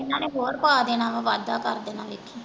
ਓਹਨਾ ਨੇ ਕੋਹੜ ਪਾ ਦੇਣਾ ਆ ਕਰਦੇਨਾ ਵੇਖੀਂ।